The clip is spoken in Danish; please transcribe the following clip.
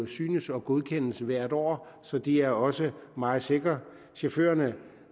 synes og godkendes hvert år så de er også meget sikre chaufførerne